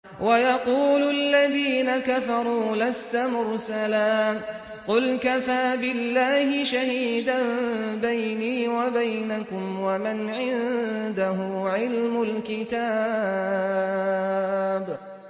وَيَقُولُ الَّذِينَ كَفَرُوا لَسْتَ مُرْسَلًا ۚ قُلْ كَفَىٰ بِاللَّهِ شَهِيدًا بَيْنِي وَبَيْنَكُمْ وَمَنْ عِندَهُ عِلْمُ الْكِتَابِ